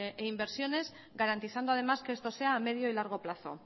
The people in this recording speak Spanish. e inversiones garantizando además que esto sea a medio y largo plazo